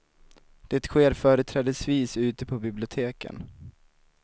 Det sker företrädesvis ute på biblioteken.